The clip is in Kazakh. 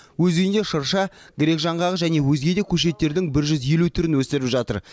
өз үйінде шырша грек жаңғағы және өзге де көшеттердің бір жүз елу түрін өсіріп жатыр